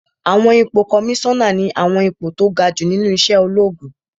Àwọn ipò kọmísánà ní àwọn ipò tó ga jù nínú iṣẹ́ ológun